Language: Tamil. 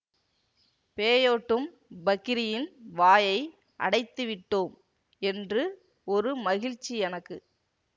பேயோட்டும் பக்கிரியின் வாயை அடைத்துவிட்டோம் என்று ஒரு மகிழ்ச்சி எனக்கு